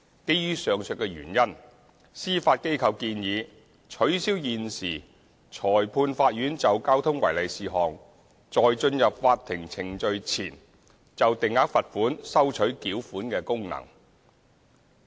基於上述原因，司法機構建議取消現時裁判法院就交通違例事項在進入法庭程序前就定額罰款收取繳款的功能。